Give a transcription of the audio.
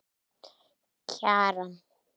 Kjaran